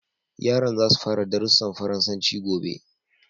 Yaran za su fara darussan Faransanci gobe.